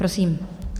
Prosím.